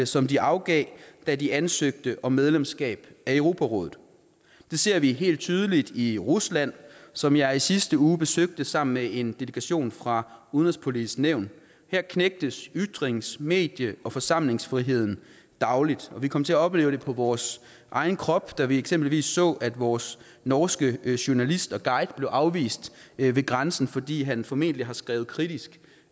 som de afgav da de ansøgte om medlemskab af europarådet det ser vi helt tydeligt i rusland som jeg i sidste uge besøgte sammen med en delegation fra udenrigspolitiske nævn her knægtes ytrings medie og forsamlingsfriheden dagligt vi kom til at opleve det på vores egen krop da vi eksempelvis så at vores norske journalist og guide blev afvist ved grænsen fordi han formentlig har skrevet kritisk